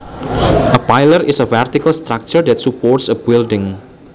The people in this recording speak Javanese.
A pillar is a vertical structure that supports a building